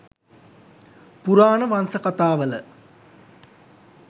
පුරාණ වංස කතාවල